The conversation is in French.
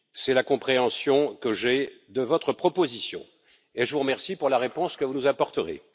C'est la compréhension que j'ai de votre proposition, et je vous remercie pour la réponse que vous nous apporterez.